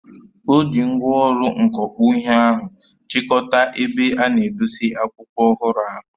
O ji ngwaọrụ mkọkpụ ihe ahụ chịkọta ebe a na edosa akwụkwọ ọhụrụ ahụ.